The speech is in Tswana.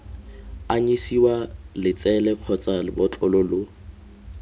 anyisiwa letsele kgotsa lebotlolo lo